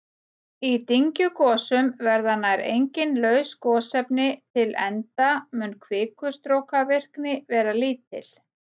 Í dyngjugosum verða nær engin laus gosefni til enda mun kvikustrókavirkni vera lítil.